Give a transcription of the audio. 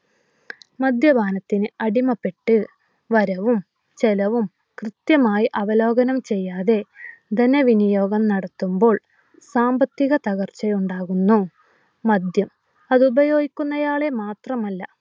മദ്യപാനത്തിന് അടിമപ്പെട്ട് വരവും ചെലവും കൃത്യമായി അവലോഹനം ചെയ്യാതെ ധന വിനിയോഗം നടത്തുമ്പോൾ സാമ്പത്തിക തകർച്ച ഉണ്ടാകുന്നു. മദ്യം അത് ഉപയോഗിക്കുന്ന ആളെ മാത്രമല്ല